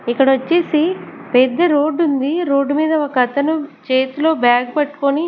ఇక్కడ వచ్చేసి పెద్ద రోడ్డు ఉంది రోడ్డు మీద ఒక అతను చేతిలో బ్యాగ్ పట్టుకొని.